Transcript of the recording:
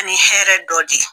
Ni hɛrɛ dɔ de ye.